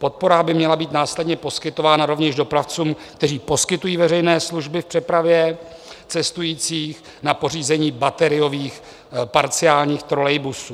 Podpora by měla být následně poskytována rovněž dopravcům, kteří poskytují veřejné služby v přepravě cestujících, na pořízení bateriových parciálních trolejbusů.